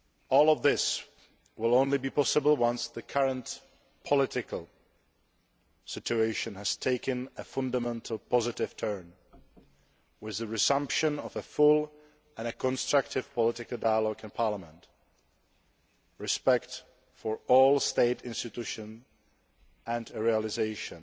All of this will only be possible once the current political situation has taken a fundamental positive turn with the resumption of a full and constructive political dialogue in Parliament, respect for all State institutions and the realisation